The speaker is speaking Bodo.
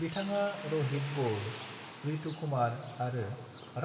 बिथाङा र'हित बल, रितु कुमार आरो